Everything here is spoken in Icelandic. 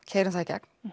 keyrum það í gegn